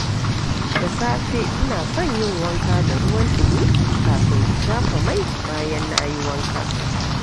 Da safe, ina son yin wanka da ruwan ɗumi kafin in shafa mai, bayan na yi wanka.